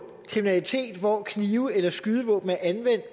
kriminalitet hvor knive eller skydevåben er anvendt